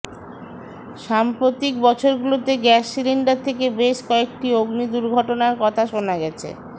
সাম্প্রতিক বছরগুলোতে gas cylinder থেকে বেশ কয়েকটি অগ্নি দুর্ঘটনার কথা শোনা গেছে